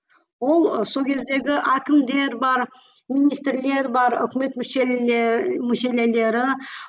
ол сол кездегі әкімдер бар министрлер бар өкімет